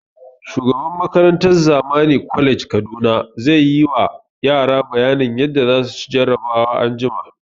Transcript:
Shugaban makarantan Zamani college Kaduna zai ma yara bayanin yadda za su ci jarabawan anjima